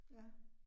Ja